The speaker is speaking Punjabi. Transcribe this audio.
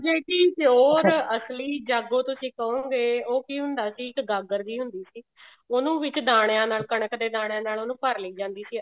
ਪਰ ਜਿਹੜੀ pure ਅਸਲੀ ਜਾਗੋ ਤੁਸੀਂ ਕਹੋਂਗੇ ਉਹ ਕੀ ਹੁੰਦਾ ਸੀ ਇੱਕ ਗਾਗਰ ਜਿਹੀ ਹੁੰਦੀ ਸੀ ਉਹਨੂੰ ਵਿੱਚ ਦਾਣਿਆਂ ਨਾਲ ਕਣਕ ਦੇ ਦਾਣਿਆਂ ਨਾਲ ਉਹਨੂੰ ਭਰ ਲਈ ਜਾਂਦੀ ਸੀ